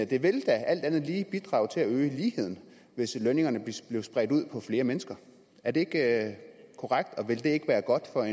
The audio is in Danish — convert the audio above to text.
det ville da alt andet lige bidrage til at øge ligheden hvis lønningerne blev spredt ud på flere mennesker er det ikke korrekt og vil det ikke være godt for